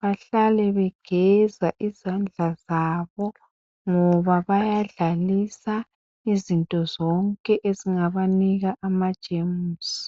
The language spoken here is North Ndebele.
bahlale begeza izandla zabo ngoba bayadlalisa izinto zonke ezingabanika amajemisi.